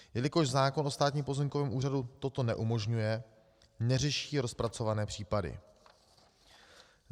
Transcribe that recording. Jelikož zákon o Státním pozemkovém úřadu toto neumožňuje, neřeší rozpracované případy.